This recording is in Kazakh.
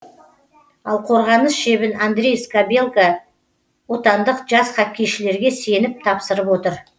ал қорғаныс шебін андрей скабелка отандық жас хоккейшілерге сеніп тапсырып отыр